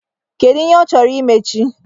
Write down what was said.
Kedu ihe ọ chọrọ imechi?